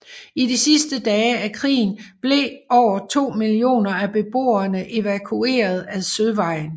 I de sidste dage af krigen blev over to millioner af beboerne evakueret ad søvejen